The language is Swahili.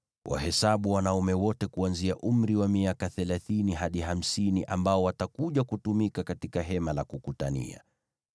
Wahesabu wanaume wote kuanzia umri wa miaka thelathini hadi hamsini ambao watakuja kutumika katika Hema la Kukutania.